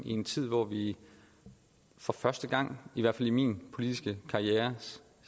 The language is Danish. i en tid hvor vi for første gang i hvert fald i min politiske karrieres